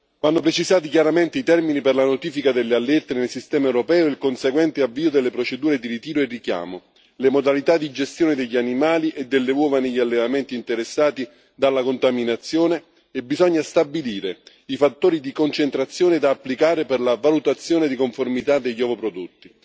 Vanno precisati chiaramente i termini per la notifica delle allerte nel sistema europeo e il conseguente avvio delle procedure di ritiro e richiamo, le modalità di gestione degli animali e delle uova negli allevamenti interessati dalla contaminazione e bisogna stabilire i fattori di concentrazione da applicare per la valutazione di conformità degli ovoprodotti.